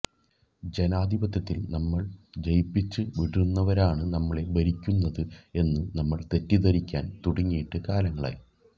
ജനാധിപത്യത്തിൽ നമ്മൾ ജയിപ്പിച്ച് വിടുന്നവരാണു നമ്മെ ഭരിക്കുന്നത് എന്ന് നമ്മൾ തെറ്റിദ്ധരിക്കാൻ തുടങ്ങിയിട്ട് കാലങ്ങളായി